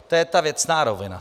To je ta věcná rovina.